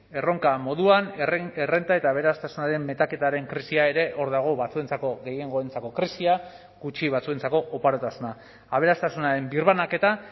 erronka moduan errenta eta aberastasunaren metaketaren krisia ere hor dago batzuentzako gehiengoentzako krisia gutxi batzuentzako oparotasuna aberastasunaren birbanaketa